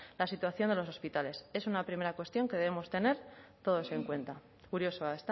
la situación de los hospitales es una primera cuestión que debemos tener todos en cuenta kuriosoa